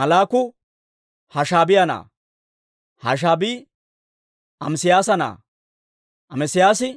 Malluuki Hashaabiyaa na'aa; Hashaabii Amesiyaasa na'aa; Amesiyaasi